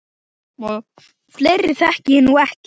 Fleiri þekki ég nú ekki.